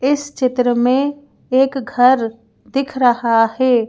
इस चित्र में एक घर दिख रहा है।